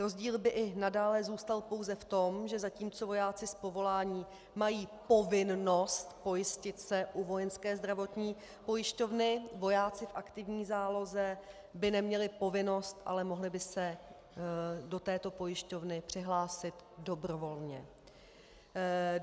Rozdíl by i nadále zůstal pouze v tom, že zatímco vojáci z povolání mají povinnost pojistit se u Vojenské zdravotní pojišťovny, vojáci v aktivní záloze by neměli povinnost, ale mohli by se do této pojišťovny přihlásit dobrovolně.